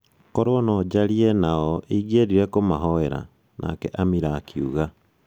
korũo no njarie nao, ingĩendire kũmahoera' Nake Amira akiuga